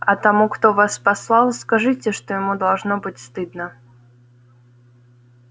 а тому кто вас послал скажите что ему должно быть стыдно